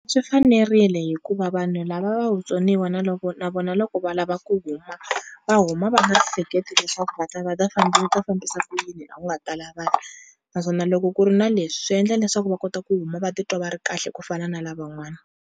Swi fanerile hikuva vanhu lava va vutsoniwa na loko na vona loko va lava ku huma va huma va nga hleketi leswaku va ta va ta va ta fambisa ku yini la ku nga tala vanhu naswona loko ku ri na leswi swi endla leswaku va kota ku huma va titwa va ri kahle ku fana na lavan'wana.